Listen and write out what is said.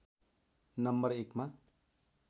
number Ekma